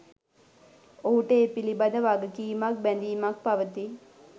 ඔහුට ඒ පිළිබඳ වගකීමක්, බැඳීමක් පවතියි.